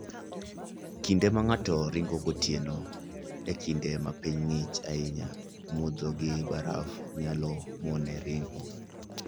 Kinde ma ng'ato ringo gotieno e kinde ma piny ng'ich ahinya, mudho gi baraf nyalo mone ringo.